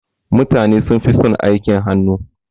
Mutane sunfi son aikin hannu.